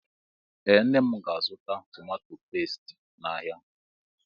Ee nne mụ ga- azụta tomato pestie n' áhiá.